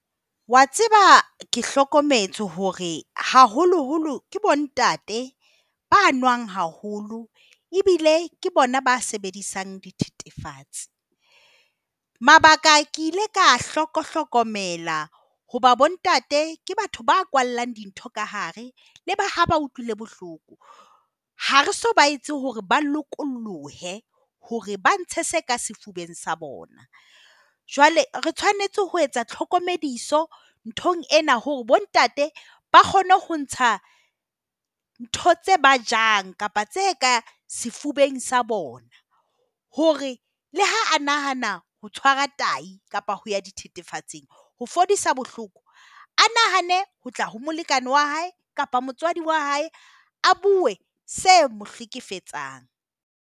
Wa tseba ke hlokometse hore haholoholo ke bontate ba nwang haholo ebile ke bona ba sebedisang dithethefatsi. Mabaka ke ile ka a hlokohlokomela hoba bontate ke batho ba kwallang dintho ka hare leba ha ba utlwile bohloko. Ha re so ba etse hore ba lokolohe hore ba ntshe se ka sefubeng sa bona. Jwale re tshwanetse ho etsa tlhokomediso nthong ena hore bontate ba kgone ho ntsha ntho tse ba jang kapa tse ka sefubeng sa bona hore le ha a nahana ho tshwara tahi kapa ho ya dithethefatsing ho fodisa bohloko, a nahane ho tla ho molekane wa hae kapa motswadi wa hae. A buwe se mo hlekefetsang.